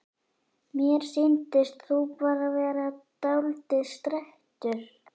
Mér sýndist þú bara vera dáldið strekktur.